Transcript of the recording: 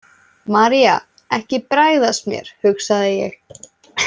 María, ekki bregðast mér, hugsaði ég.